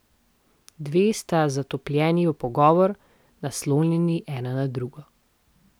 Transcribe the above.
Dve sta zatopljeni v pogovor, naslonjeni ena na drugo.